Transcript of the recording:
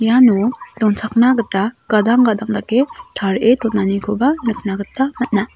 iano donchakna gita gadang gadang dake tarie donanikoba nikna gita man·a.